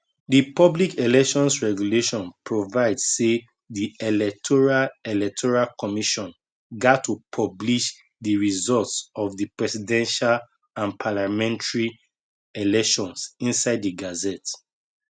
di public elections regulation provide say di electoral electoral commission gat to publish di results of di presidential and parliamentary elections inside di gazette